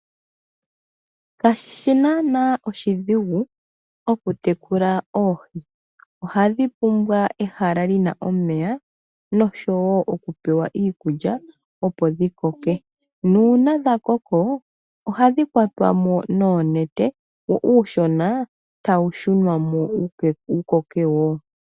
Kashishi naana oshidhigu okutekula oohi, ohadhi pumbwa ehala li na omeya osho wo iikulya opo dhi koke, nuuna dha koko ohadhi kwatwa mo noonete wo uushona tawu shunwa mo wu koke wo.